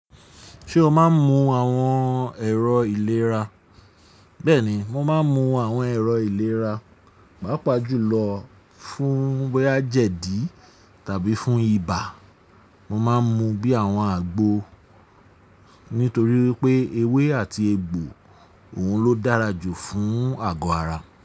Ṣé o máa ń mu àwọn ẹ̀rọ ìlera? Bẹ́ẹ̀ni, mo máa ń mu àwọn ẹ̀rọ ìlera, pàápàá jùlọ fún boyà jẹdì tàbí fún ibà. Mo máa ń mu bí àwọn àgbo nítorí wípé ewé àti egbò òun ló dára jù fún àgọ́ ara.